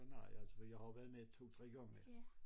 Så nej altså jeg har jo været med 2 3 gange